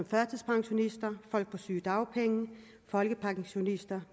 førtidspensionister folk på sygedagpenge folkepensionister